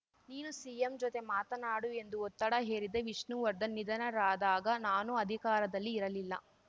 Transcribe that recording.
ನೀನು ಸಿಎಂ ಜೊತೆ ಮಾತನಾಡು ಎಂದು ಒತ್ತಡ ಹೇರಿದ್ದೆ ವಿಷ್ಣುವರ್ಧನ್‌ ನಿಧನರಾದಾಗ ನಾನು ಅಧಿಕಾರದಲ್ಲಿ ಇರಲಿಲ್ಲ